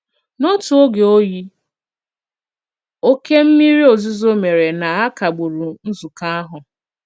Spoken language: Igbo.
N'otu ògè oyi, okè mmìrì òzùzò mèré na a kagbùrù nzùkọ àhụ̀.